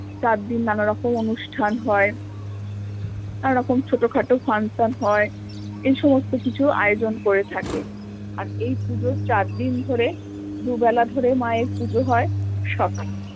চারদিন নানারকম অনুষ্ঠান হয় নানারকম ছোট খাটো function হয় এই সমস্ত কিছু আয়োজন করে থাকে আর এই পুজোর চারদিন ধরে দুবেলা ধরে মা এর পুজো হয় সকা